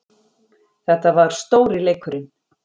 Þetta var stóri leikurinn